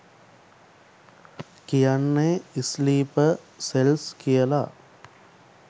කියන්නෙ sleeper cells කියල.